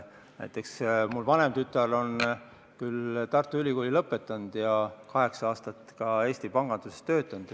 Mu vanem tütar on Tartu Ülikooli lõpetanud ja kaheksa aastat ka Eesti panganduses töötanud.